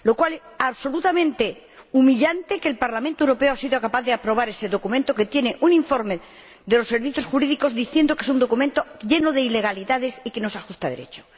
Es absolutamente humillante que el Parlamento Europeo haya sido capaz de aprobar ese documento, que un informe de los Servicios Jurídicos califica como un documento lleno de ilegalidades y que no se ajusta a Derecho.